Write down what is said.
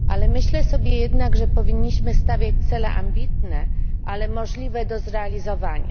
Myślę jednak, że powinniśmy stawiać cele ambitne, ale możliwe do zrealizowania.